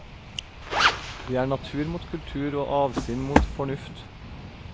Det er natur mot kultur og avsinn mot fornuft.